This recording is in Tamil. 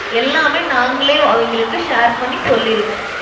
எல்லாமே நாங்களே அவிங்களுக்கு share பண்ணி சொல்லிருவோம்.